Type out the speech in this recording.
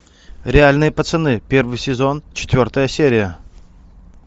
реальные пацаны первый сезон четвертая серия